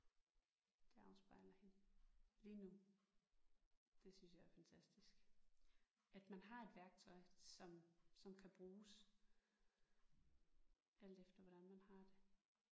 Det afspejler hende lige nu. Det synes jeg er fantastisk at man har et værktøj som som kan bruges alt efter hvordan man har det